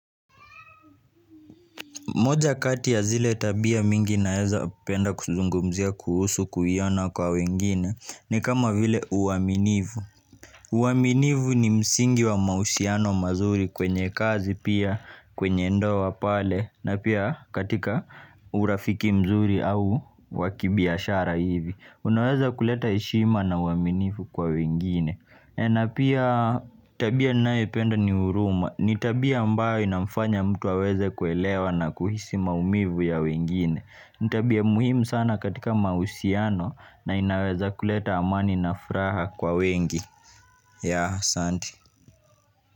Moja kati ya zile tabia mingi naweza penda kuzungumzia kuhusu kuiona kwa wengine ni kama vile uaminifu. Uaminifu ni msingi wa mahusiano mazuri kwenye kazi pia kwenye ndoa pale na pia katika urafiki mzuri au wa kibiashara hivi unaweza kuleta ishima na uaminivu kwa wengine. Eeh napia tabia ninayoipenda ni huruma ni tabia ambayo inamfanya mtu aweze kuelewa na kuhisi maumivu ya wengine ni tabia muhimu sana katika mahusiano na inaweza kuleta amani na furaha kwa wengi yaah, asante.